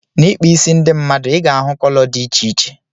N'ikpa ịsị ndị mmadụ ị ga-ahụ kọlọ dị iche iche.